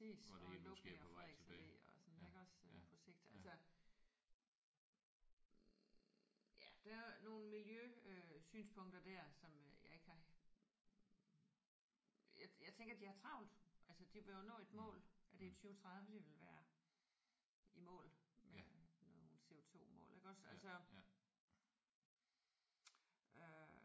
Og lukningen af Frederiks Alle og sådan iggås på sigt altså ja der er nogle miljøsynspunkter der som jeg ikke har jeg jeg tænker de har travlt. Altså de vil jo nå et mål. Er det i 2030 de vil være i mål med nogle CO2-mål iggås? Altså øh